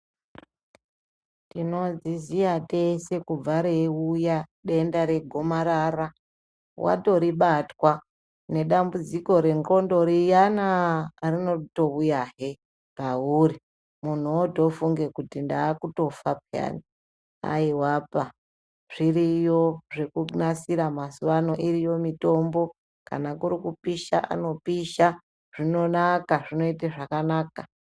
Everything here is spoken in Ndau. Tinozviziya tese kubva reiuya denda regomarara watoribatwa, nedambudziko nendxondo riyanaa rinotouyahe pauri, muntu wootofunge kuti ndaakutofa peyana. Haiwapa zviriyo zvekunasira mazuvano, iriyo mitombo. Kana kuri kupisha anopisha, zvinonaka, zvinoite zvakanaka.